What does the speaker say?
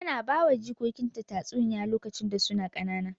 Tana bawa jikokinta tatsuniyoyi lokacin da suna ƙanana.